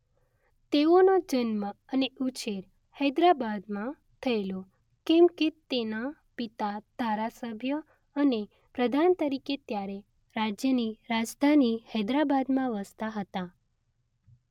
તેઓનો જન્મ અને ઉછેર હૈદરાબાદમાં થયેલો કેમકે તેનાં પિતા ધારાસભ્ય અને પ્રધાન તરીકે ત્યારે રાજ્યની રાજધાની હૈદરાબાદમાં વસતા હતા